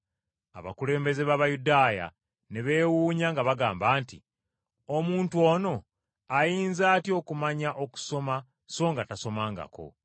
Abakulembeze b’Abayudaaya ne beewuunya nga bagamba nti, “Omuntu ono ayinza atya okumanya okusoma so nga tasomangako?”